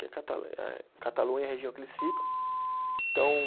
Que é catale eh, Catalunha, a região que eles ficam. Então